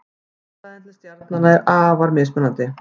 Fjarlægðin til stjarnanna er afar mismunandi.